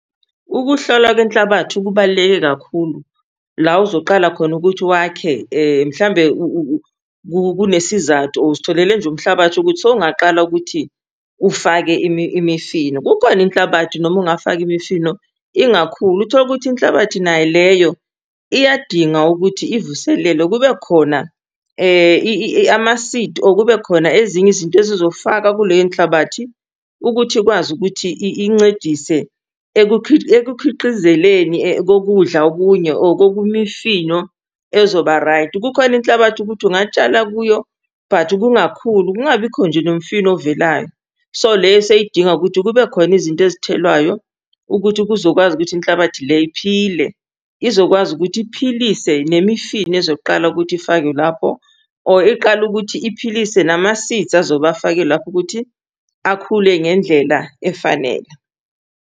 Ukuhlolwa kwenhlabathi kubaluleke kakhulu la uzoqala khona ukuthi wakhe mhlawumbe kunesizathu or uzitholele nje umhlabathi ukuthi sowungaqala ukuthi ufake imifino. Kukhona inhlabathi noma ungafaka imifino ingakhuli, utholukuthi inhlabathi nayo leyo iyadinga ukuthi ivuselelwe, kubekhona ama-seed or kubekhona ezinye izinto ezizofakwa kuleyo nhlabathi ukuthi ikwazi ukuthi incedise ekukhiqizeleni kokudla okunye or koku mifino ezoba right. Kukhona inhlabathi ukuthi ungatshala kuyo but kungakhuli, kungabikho nje nomfino ovelayo. So leyo seyidinga ukuthi kubekhona izinto ezithelwayo ukuthi kuzokwazi ukuthi inhlabathi le iphile, izokwazi ukuthi iphilise nemifino ezoqala ukuthi ifakwe lapho or iqale ukuthi iphilise nama-seeds azobe afakwe lapho ukuthi akhule ngendlela efanele.